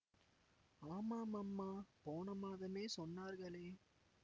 ஆமாம் அம்மா போன மாதமே சொன்னார்களே